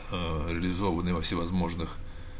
аа реализованы во всевозможных